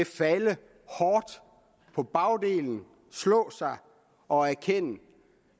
falde hårdt på bagdelen slå sig og erkende